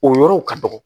O yɔrɔw ka dɔgɔ